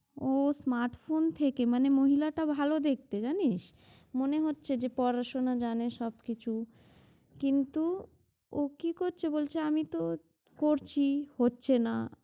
ও smart phone থেকে মানে মহিলা টা ভাল দেখতে, জানিস? মনে হচ্ছে যে পড়াশোনা জানে সব কিছু কিন্তু ও কি করছে বলছে আমি তো করছি হচ্ছে না